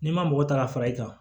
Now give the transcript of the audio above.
N'i ma mɔgɔ ta ka fara i kan